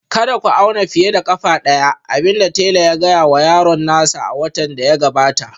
Kada ku auna fiye da ƙafa ɗaya, abin da tela ya gaya wa yaron nasa a watan da ya gabata